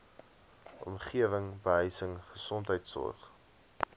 omgewing behuising gesondheidsorg